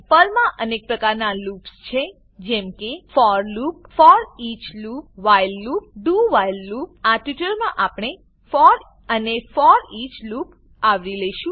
પર્લમાં અનેક પ્રકારનાં લૂપસ છે જેમ કે for loop for loop foreach loop foreach loop while loop while loop અને do while loop do while loop આ ટ્યુટોરીયલમાં આપણે ફોર અને ફોરઈચ લૂપ આવરી લેશું